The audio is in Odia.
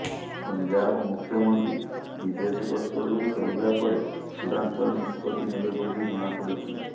ପଞ୍ଜାବ ମୁଖ୍ୟମନ୍ତ୍ରୀ ବିଦେଶ ଗସ୍ତରୁ ଫେରିବା ପରେ ଚୂଡାନ୍ତ ନିଷ୍ପତ୍ତି ନେବେ ବୋଲି ଜଣାପଡ଼ିଛି